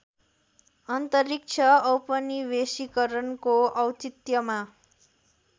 अन्तरिक्ष औपनिवेशीकरणको औचित्यमा